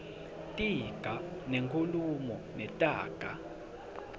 tiga tenkhulumo netaga